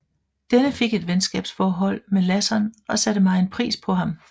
Denne fik et venskabsforhold med Lasson og satte megen pris på ham